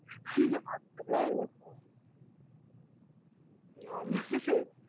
ஆஹ் அப்படிலாம் இல்ல sir ஆமா sir